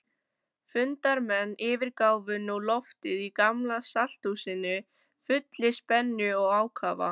Fundarmenn yfirgáfu nú loftið í Gamla-salthúsinu fullir spennu og ákafa.